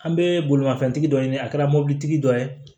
An bɛ bolimafɛntigi dɔ ɲini a kɛra mobilitigi dɔ ye